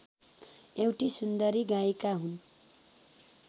एउटी सुन्दरी गायिका हुन्